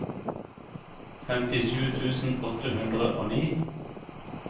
femtisju tusen åtte hundre og ni